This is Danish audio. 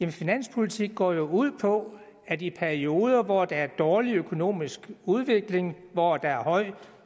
finanspolitik går jo ud på at i perioder hvor der er dårlig økonomisk udvikling hvor der er høj